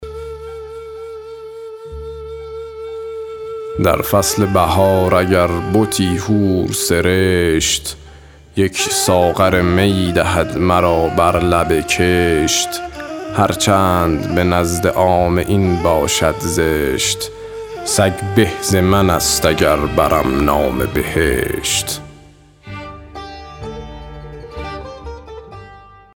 در فصل بهار اگر بتی حور سرشت یک ساغر می دهد مرا بر لب کشت هر چند به نزد عامه این باشد زشت سگ به ز من است اگر برم نام بهشت